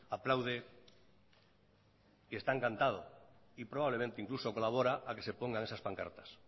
aplaude que está encantado y probablemente incluso colabora a que se pongan esas pancartas